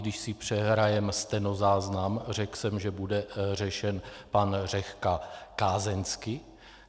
Když si přehrajeme stenozáznam, řekl jsem, že bude řešen pan Řehka kázeňsky.